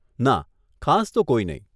ના, ખાસ તો કોઈ નહીં.